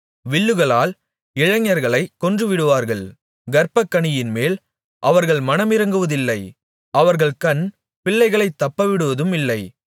வில்லுகளால் இளைஞர்களை கொன்றுவிடுவார்கள் கர்ப்பக்கனியின்மேல் அவர்கள் மனமிரங்குவதில்லை அவர்கள் கண் பிள்ளைகளைத் தப்பவிடுவதுமில்லை